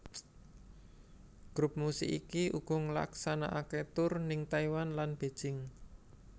Grup musik iki uga ngelaksanakaké tur ning Taiwan lan Beijing